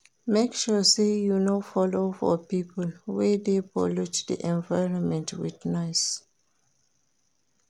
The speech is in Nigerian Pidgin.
Make sure say you no follow for pipo wey de pollute di environment with noise